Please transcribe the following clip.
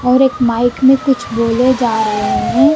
और एक माइक मे कुछ बोले जा रहे हैं।